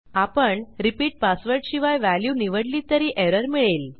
आपण repeat password शिवाय value निवडली तरी एरर मिळेल